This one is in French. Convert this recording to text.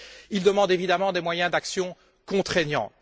Il demande évidemment des moyens d'action contraignants.